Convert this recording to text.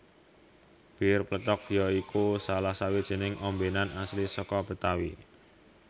Bir pletok ya iku salah sawijining ombenan asli saka Betawi